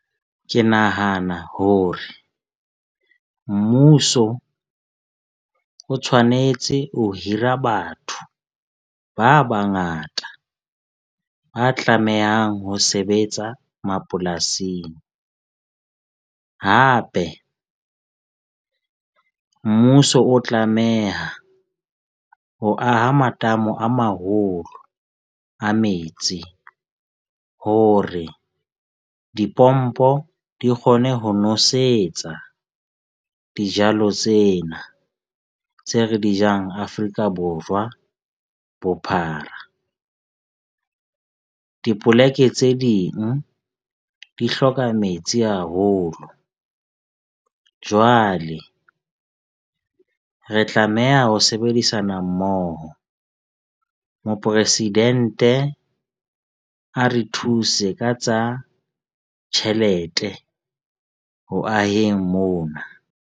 Ke nahana hore mmuso o tshwanetse ho hira batho ba bangata, ba tlamehang ho sebetsa mapolasing. Hape mmuso o tlameha ho aha matamo a maholo a metsi hore, dipompo di kgone ho nosetsa dijalo tsena tse re di jang Afrika Borwa bophara. Dipoleke tse ding di hloka metsi haholo. Jwale re tlameha ho sebedisana mmoho. Mopresidente a re thuse ka tsa tjhelete ho aheng mona.